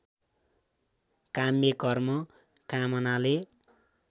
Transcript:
काम्य कर्म कामनाले